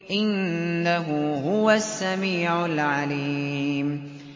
إِنَّهُ هُوَ السَّمِيعُ الْعَلِيمُ